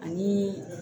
Ani